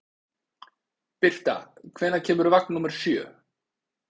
Birta, hvenær kemur vagn númer sjö?